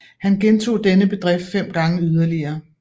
Han gentog denne bedrift fem gange yderligere